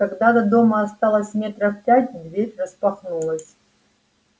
когда до дома осталось метров пять дверь распахнулась